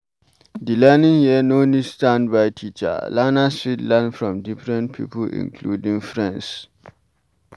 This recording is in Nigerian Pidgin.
Di learning here no need standby teacher, learners fit learn from different pipo including friends